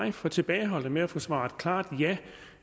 er for tilbageholdende med at få svaret klart ja